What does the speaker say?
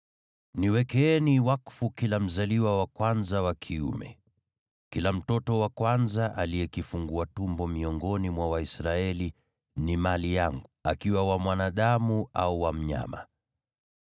“Niwekeeni wakfu kila mzaliwa wa kwanza wa kiume. Kila mtoto wa kwanza aliye kifungua tumbo miongoni mwa Waisraeli ni mali yangu, akiwa wa mwanadamu au wa mnyama.”